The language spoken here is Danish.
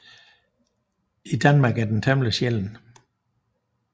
I Danmark er den temmelig sjælden